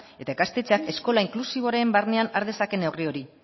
eta ikastetxeak eskola inklusiboaren barnean har dezake neurri hori